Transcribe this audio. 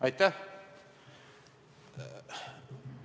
Aitäh!